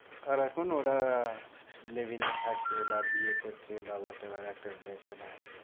আর এখন ওরা live-in এ থাকে বা বিয়ে করছে বা whatever একটা relation এ আছে।